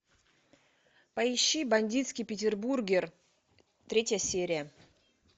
поищи бандитский петербург третья серия